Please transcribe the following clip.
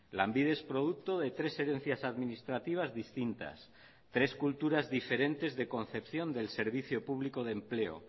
lanbide es producto de tres herencias administrativas distintas tres culturas diferentes de concepción del servicio público de empleo